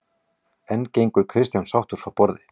En gengur Kristján sáttur frá borði?